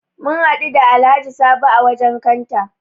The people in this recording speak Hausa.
Mun hadu da Alhaji Sabo a wajen kanta.